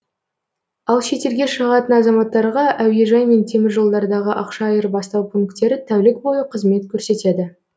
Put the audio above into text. ал шетелге шығатын азаматтарға әуежай мен теміржолдардағы ақша айырбастау пунктері тәулік бойы қызмет көрсетеді